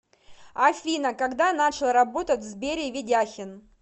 афина когда начал работать в сбере ведяхин